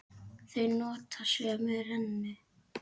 Þau nota sömu rennu.